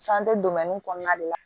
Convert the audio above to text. kɔnɔna de la